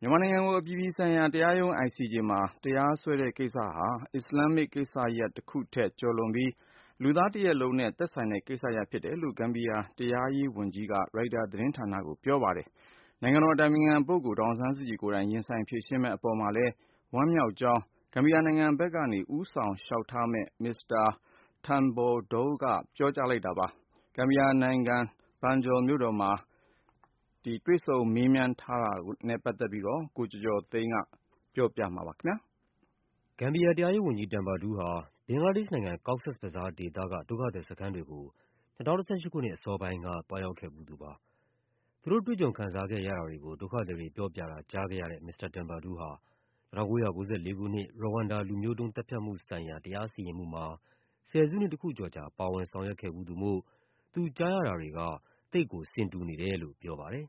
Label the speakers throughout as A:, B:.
A: မြန်မာနိုင်ငံကို အပြည်ပြည်ဆိုင်ရာတရားရုံး မှာ တရားစွဲတဲ့ကိစ္စဟာ အစ္စလာမ်မစ်ကိစ္စရပ်တခုထက် ကျော်လွန်ပြီး လူသားတရပ်လုံးနဲ့ သက်ဆိုင်တဲ့ကိစ္စရပ်ဖြစ်တယ်လို့ ဂမ်ဘီယာ တရားရေးဝန်ကြီး Abubacarr Tambadou က ရိုက်တာသတင်းဌာနကို ပြောပါတယ်။ နိုင်ငံတော်အတိုင်ပင်ခံပုဂ္ဂိုလ် ဒေါ်အောင်ဆန်းစုကြည် ကိုယ်တိုင် ရင်ဆိုင်ဖြေရှင်းမယ့် အပေါ်မှာလည်း ဝမ်းမြောက်ကြောင်း ဂမ်ဘီယာနိုင်ငံဘက်နေ ဦးဆောင်လျှောက်ထားမယ့် မစ္စတာ Tambadou ကပြောပါတယ်။ ဂမ်ဘီယာနိုင်ငံ၊ Banjul မြို့တော်မှာ မစ္စတာ Tambadou ကို တွေ့ဆုံမေးမြန်းထားတဲ့ ရိုက်တာသတင်းဌာနရဲ့ သတင်းလွှာကို ကိုကျော်ကျော်သိန်းက
B: ပြောပြပါမယ်။ ဂမ်ဘီယာ တရားရေးဝန်ကြီး Tambadou ဟာ ဘင်္ဂလားဒေ့ရှ်နိုင်ငံ၊ Cox’s Bazar ဒေသက ဒုက္ခသည်စခန်းတွေကို ၂၀၁၈ ခုနှစ် အစောပိုင်းက သွားရောက်ခဲ့ဖူးသူပါ။ သူတို့ တွေ့ကြုံခံစားခဲ့ရတာတွေကို ဒုက္ခသည်တွေပြောပြတာ ကြားခဲ့ရတဲ့ မစ္စတာ Tambadou ဟာ ၁၉၉၄ ခုနှစ် ရဝမ်ဒါ လူမျိုးတုန်းသတ်ဖြတ်မှုဆိုင်ရာ တရားစီရင်မှုမှာ ဆယ်စုနှစ်တခုကျော်ကြာ ပါဝင်ဆောင်ရွက် ခဲ့ဖူးသူမို့ သူကြားရတာတွေက သိပ်ကိုဆင်တူူနေတယ်လို့ ပြောပါတယ်။ “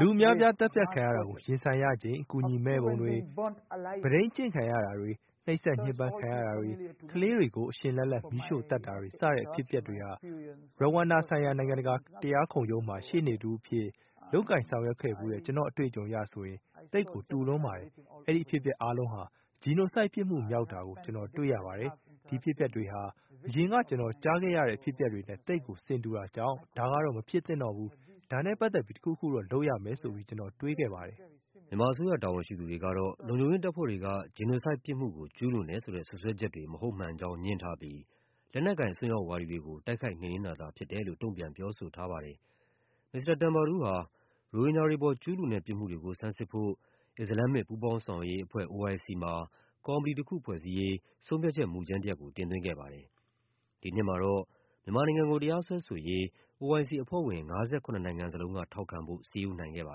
A: လူအများအပြား သတ်ဖြတ်ခံ
C: ရတာကို ရင်ဆိုင်ရချိန် အကူအညီမဲ့ပုံတွေ၊ မုဒိန်းကျင့်ခံရတာတွေ၊ နှိပ်စက်ညှဉ်း ပန်းခံရတာတွေ၊ ကလေးတွေကို အရှင်လတ်လတ် မီးရှို့သတ်တာတွေ စတဲ့အဖြစ်အပျက်တွေဟာ ရဝမ်ဒါဆိုင်ရာ နိုင်ငံတကာ တရားခုံရုံးမှာ ရှေ့နေတဦးအဖြစ် လုပ်ကိုင်ဆောင်ရွက်ဖူးတဲ့ ကျနော့်အတွေ့အကြုံအရဆိုရင် သိပ်ကိုတူလွန်းပါတယ်။ အဲဒီအဖြစ် အပျက်တွေအားလုံးဟာ genocide ပြစ်မှုမြောက်တာကို ကျနော်တွေ့ရပါတယ်။ ဒီအဖြစ်အပျက်တွေဟာ အရင်က ကျနော်ကြားခဲ့ ရတဲ့အဖြစ်အပျက်တွေနဲ့ သိပ်ကိုဆင်တူတာကြောင့် ဒါတော့ မဖြစ်သင့်တော့ဘူး၊ ဒါနဲ့ပတ်သက်ပြီး တခုခုတော့ လုပ်ရမယ်ဆိုပြီး ကျနော်တွေးခဲ့ပါတယ်။”
B: မြန်မာအစိုးရ တာဝန်ရှိသူတွေကတော့ လုံခြုံရေးတပ်ဖွဲ့တွေက genocide ပြစ်မှုကို ကျူးလွန်တယ်ဆိုတဲ့ စွပ်စွဲချက်တွေ မဟုတ်မှန် ကြောင်း ငြင်းထားပြီး လက်နက်ကိုင် အစွန်းရောက်ဝါဒီတွေကို တိုက်ခိုက်တာသာဖြစ်တယ်လို့ တုံ့ပြန်ပြောဆိုထားပါတယ်။ မစ္စတာ Tambadou ဟာ ရိုဟင်ဂျာတွေအပေါ် ကျူးလွန်တဲ့ ပြစ်မှုတွေကို ဆန်းစစ်ဖို့ အစ္စလာမ်မစ် ပူးပေါင်းဆောင်ရွက်ရေးအဖွဲ့ မှာ ကော်မတီတခုဖွဲ့စည်းရေး ဆုံးဖြတ်ချက် မူကြမ်းတရပ်ကို တင်သွင်းခဲ့ပါတယ်။ ဒီနှစ်မှာတော့ မြန်မာနိုင်ငံကို တရားစွဲဆို ရေး OIC အဖွဲ့ဝင် ၅၇ နိုင်ငံလုံးကထောက်ခံဖို့ စည်းရုံးခဲ့ပါ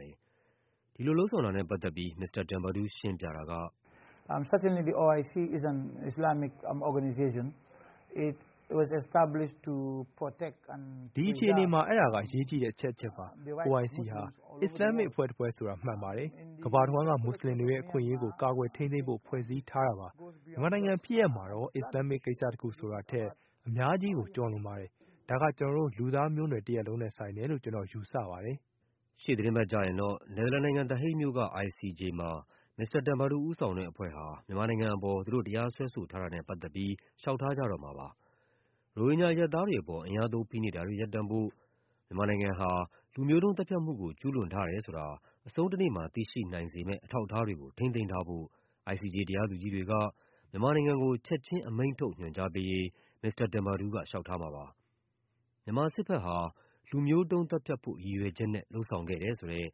B: တယ်။ ဒီလိုလုပ်ဆောင်တာနဲ့ပတ်သက်ပြီး မစ္စတာ Tabadou ရှင်းပြတာက “ဒီ
A: အခြေအနေ
C: မှာ အဲဒါက အရေးကြီးတဲ့ အချက်တချက်ပါ။ OIC ဟာ အစ္စလာမ်မစ်အဖွဲ့တဖွဲ့ဆိုတာ မှန်ပါ တယ်။ ကမ္ဘာတဝန်းက မွတ်ဆလင်တွေရဲ့ အခွင့်အရေးကို ကာကွယ်ထိန်းသိမ်းဖို့ ဖွဲ့စည်းထားတာပါ။ မြန်မာနိုင်ငံဖြစ်ရပ်မှာတော့ အစ္စလာမ်မစ်ကိစ္စရပ်တခု ဆိုတာထက် အများကြီး ကျော်လွန်ပါတယ်။ ဒါက ကျနော်တို့ လူသားမျိုးနွယ်တရပ်လုံးနဲ့ ဆိုင်တယ်လို့ ကျနော်ယူဆပါတယ
B: ်။” ရှေ့သီတင်းပတ်ကျရင်တော့ နယ်သာလန်နိုင်ငံ၊ The Hague မြို့က ICJ မှာ မစ္စတာ Tambadou ဦးဆောင်တဲ့အဖွဲ့ဟာ မြန်မာ နိုင်ငံအပေါ် သူတို့တရားစွဲဆိုထားတာနဲ့ပတ်သက်ပြီး လျှောက်ထားကြတော့မှာပါ။ ရိုဟင်ဂျာအရပ်သားတွေအပေါ် အင်အားသုံး ဖိနှိပ်တာတွေ ရပ်တန့်ဖို့၊ မြန်မာနိုင်ငံဟာ လူမျိုးတုံးသတ်ဖြတ်မှုကို ကျူးလွန်ထား တယ်ဆိုတာ အဆုံးတနေ့မှာ သိရှိနိုင်စေမယ့် အထောက်အထားတွေကို ထိန်းသိမ်းထားဖို့ ICJ တရားသူကြီးတွေက မြန်မာနိုင်ငံကို ချက်ခြင်း အမိန့်ထုတ်ညွှန်ကြားပေးရေး မစ္စတာ Tambadou က လျှောက်ထားမှာပါ။ မြန်မာစစ်ဘက်ဟာ “လူမျိုးတုန်းသတ်ဖြတ်ဖို့ ရည်ရွယ်ချက်” နဲ့ လုပ်ဆောင်ခဲ့တယ်ဆိုတဲ့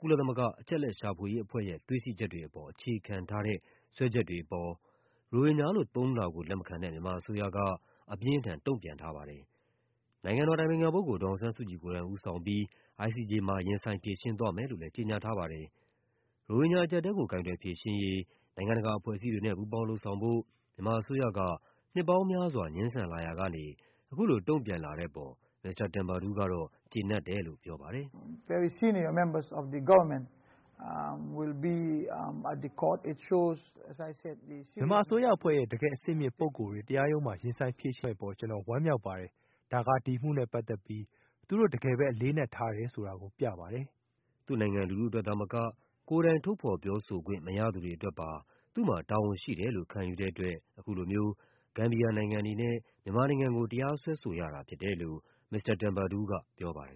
B: ကုလသမဂ္ဂ အချက်အလက်ရှာဖွေရေး အဖွဲ့ရဲ့ တွေ့ရှိချက်တွေအပေါ် အခြေခံထားတဲ့ စွဲချက်တွေအပေါ် ရိုဟင်ဂျာလို့ သုံးနှုန်းတာကို လက်မခံတဲ့ မြန်မာအစိုးရက အပြင်း အထန် တုံ့ပြန်ထားပါတယ်။ နိုင်ငံတော်အတိုင်ပင်ခံပုဂ္ဂိုလ် ဒေါ်အောင်ဆန်းစုကြည်ကိုယ်တိုင် ဦးဆောင်ပြီး ICJ မှာ ရင်ဆိုင်ဖြေရှင်းသွားမယ်လို့လည်း ကြေညာ ထားပါတယ်။ ရိုဟင်ဂျာအကျပ်အတည်းကို ကိုင်တွယ်ဖြေရှင်းရေး နိုင်ငံတကာအဖွဲ့အစည်းတွေနဲ့ ပူးပေါင်းလုပ်ဆောင်ဖို့ မြန်မာအစိုးရက နှစ်ပေါင်းများစွာ ငြင်းဆန်လာရာကနေ အခုလို တုံ့ပြန်လာတဲ့အပေါ် မစ္စတာ Tambadou ကတော့ ကျေနပ်တယ်လို့ပြောပါတယ်။
A: “မြန်မာအစိုးရ
C: အဖွဲ့ရဲ့ တကယ့်အဆင့်မြင့်ပုဂ္ဂိုလ်တွေ တရားရုံးမှာ ရင်ဆိုင်ဖြေရှင်းမယ့်အပေါ် ကျနော် ဝမ်းမြောက်ပါတယ်။ ဒါက ဒီအမှုနဲ့ပတ်သက်ပြီး သူတို့ တကယ်ပဲ အလေးအနက်ထားတယ်ဆိုတာ
B: ပြပါတယ်။” သူ့နိုင်ငံ လူထုအတွက်သာမက ကိုယ်တိုင် ထုတ်ဖော်ပြောဆိုခွင့် မရသူတွေအတွက်ပါ သူ့မှာတာဝန်ရှိတယ်လို့ ခံယူတဲ့အတွက် အခုလိုမျိုး ဂမ်ဘီယာနိုင်ငံအနေနဲ့ မြန်မာနိုင်ငံကို တရားစွဲဆိုရတာဖြစ်တယ်လို့ ုမစ္စတာ Tambadou ကပြောပါတယ်